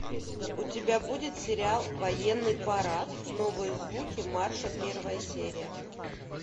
у тебя будет сериал военный парад новые звуки марша первая серия